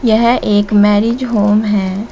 यह एक marriage home है।